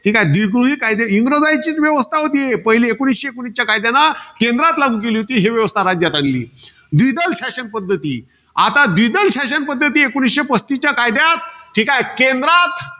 द्विगृही. इंग्रजांचीच व्यवस्था होती पहिले, एकोणीसशे एकोणीसच्या कायद्यानं केंद्रात लागू केली होती. ही व्यवस्था राज्यात आलेली. द्विदल शासन पद्धती. आता द्विदल शासन पद्धती, एकोणीशे पस्तीसच्या कायद्यात ठीकाय. केंद्रात